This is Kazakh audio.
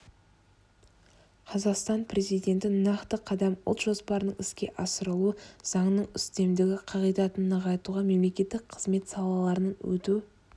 қазақстан президенті нақты қадам ұлт жоспарының іске асырылуы заңның үстемдігі қағидатын нығайтуға мемлекеттік қызмет сатыларынан өту